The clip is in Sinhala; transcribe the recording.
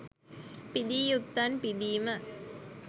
පිදිය යුත්තන් පිදීම